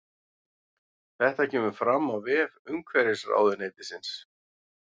Þetta kemur fram á vef umhverfisráðuneytisins